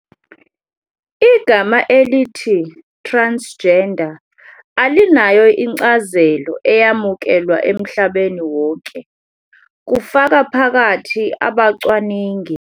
Igama elithi transgender alinayo incazelo eyamukelwa emhlabeni wonke, kufaka phakathi abacwaningi.